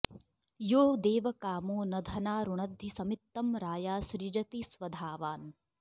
यो दे॒वका॑मो॒ न धना॑ रुणद्धि॒ समित्तं रा॒या सृ॑जति स्व॒धावा॑न्